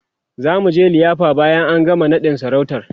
zamuje liyafa bayan an gama naɗin sarautar